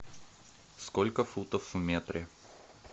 сколько футов в метре